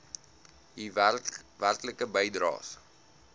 u werklike bydraes